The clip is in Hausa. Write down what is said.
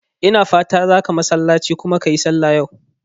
Ina fatan zaka masallace kuma ka yi sallah yau?